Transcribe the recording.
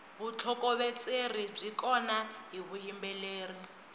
vutlhokovetseri byi kona hi vuyimbeleri